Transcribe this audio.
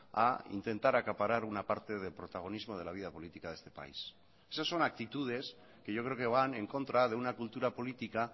a intentar acaparar una parte de protagonismo de la vida política de este país esas son actitudes que yo creo que van en contra de una cultura política